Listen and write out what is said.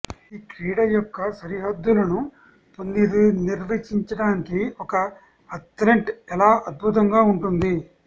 ఇది క్రీడ యొక్క సరిహద్దులను పునర్నిర్వచించటానికి ఒక అథ్లెట్ ఎలా అద్భుతంగా ఉంటుంది